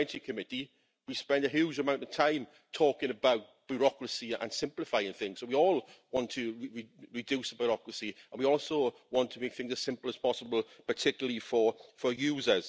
In the REGI Committee we spend a huge amount of time talking about bureaucracy and simplifying things so we all want to reduce bureaucracy and we also want to make things as simple as possible, particularly for users.